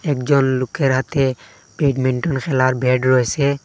একজন লোকের হাতে ব্যাডমিন্টন খেলার ব্যাড রয়েছে।